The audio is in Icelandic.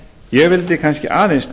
ég vildi kannski aðeins